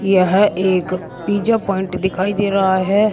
यह एक pizza point दिखाई दे रहा है।